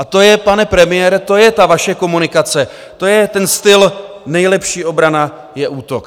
A to je, pane premiére, to je ta vaše komunikace, to je ten styl - nejlepší obrana je útok.